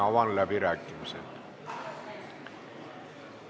Avan läbirääkimised.